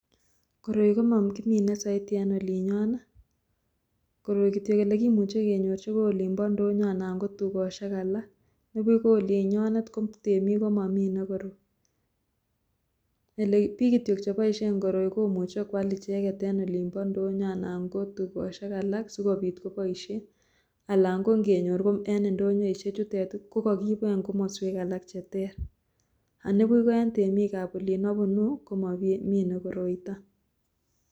Koroi ko makimine soiti en olinyonet, koroi kityok ele kimuchi kenyorchi ko olin bo ndonyo anan ko dukosiek alak, nebuch ko olinyonet ko temik ko mamine koroi, piik kityok che boisie koroi komuchi kwal icheket eng olin bo ndonyo anan ko dukosiek alak sikobit koboisie, alan ko ngenyor en indonyoisiechutet ko kakiibu eng komoswek alak che ter, anibuch ko en temik ab olin abunu ko makimine koroiton.